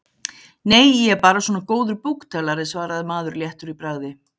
Nei, ég er bara svona góður búktalari, svaraði maður léttur í bragði.